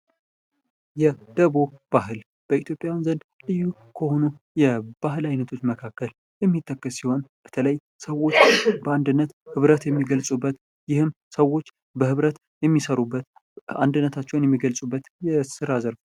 የደቦ ባህል በኢትዮጵያውያን ዘንድ ልዩ ከሆኑ የባህል ዓይነቶች መካከል የሚጠቀስ ሲሆን፤ በተለይ ሰዎቹ በአንድነት ህብረት የሚገልጹበት። ይህም ሰዎች በህብረት የሚሰሩበት አንድነታቸውን የሚገልጹበት የሥራ ዘርፍ።